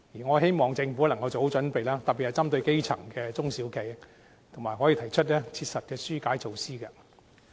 我希望政府能夠做好準備，特別是針對基層的中小企，可以提出切實的紓困措施。